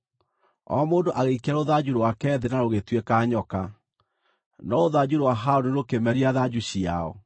O mũndũ agĩikia rũthanju rwake thĩ na rũgĩtuĩka nyoka. No rũthanju rwa Harũni rũkĩmeria thanju ciao.